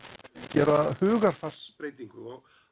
gera hugarfarsbreytingu og